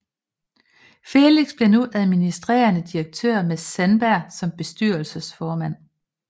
Felix blev nu administrerende direktør med Sandberg som bestyrelsesformand